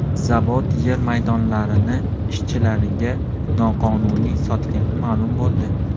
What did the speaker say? Zavod yer maydonlarini ishchilariga noqonuniy sotgani ma’lum bo‘ldi.